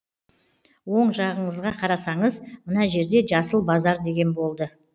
оң жағыңызға қарасаңыз мына жерде жасыл базар деген болды